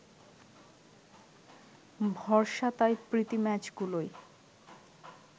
ভরসা তাই প্রীতি ম্যাচগুলোই